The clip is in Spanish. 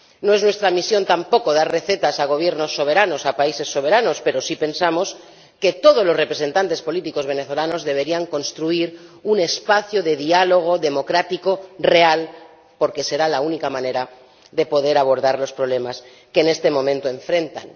No es nuestra misión tampoco dar recetas a Gobiernos soberanos, a países soberanos, pero sí pensamos que todos los representantes políticos venezolanos deberían construir un espacio de diálogo, democrático, real, porque será la única manera de poder abordar los problemas que en este momento afrontan.